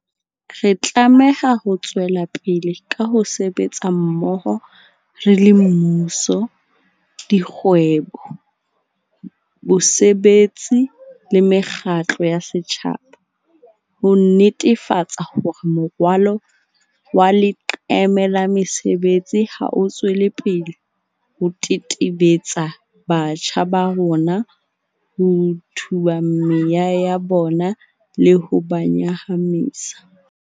Re tlameha ho tswelapele ka ho sebetsa mmoho re le mmuso, dikgwebo, bosebetsi le mekgatlo ya setjhaba, ho netefatsa hore morwalo wa leqeme la mesebetsi ha o tswele pele ho tetebetsa batjha ba rona, ho tuba meya ya bona le ho ba nyahamisa.